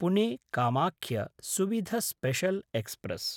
Pune Kamakhya Suvidha special express